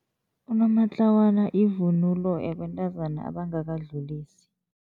Unomatlawana yivunulo yabantazana abangakadlulisi.